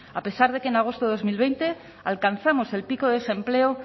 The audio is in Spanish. a pesar de que en agosto de dos mil veinte alcanzamos el pico de desempleo